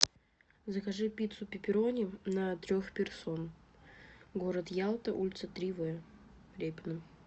закажи пиццу пепперони на трех персон город ялта улица три в репина